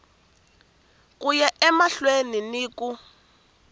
ku ya emahlweni ni ku